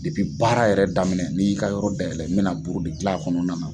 Depi baara yɛrɛ daminɛ n'i y'i ka yɔrɔ dayɛlɛ mɛna buru de gilan kɔnɔna na.